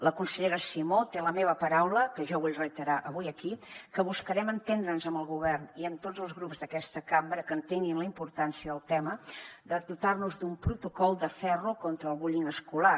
la consellera simó té la meva paraula que jo vull reiterar avui aquí que buscarem entendre’ns amb el govern i amb tots els grups d’aquesta cambra que entenguin la importància del tema de dotar nos d’un protocol de ferro contra el bullyingescolar